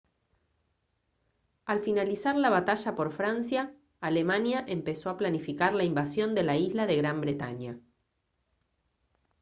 al finalizar la batalla por francia alemania empezó a planificar la invasión de la isla de gran bretaña